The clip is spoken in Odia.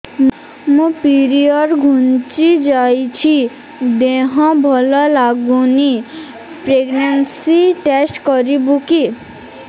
ମୋ ପିରିଅଡ଼ ଘୁଞ୍ଚି ଯାଇଛି ଦେହ ଭଲ ଲାଗୁନି ପ୍ରେଗ୍ନନ୍ସି ଟେଷ୍ଟ କରିବୁ କି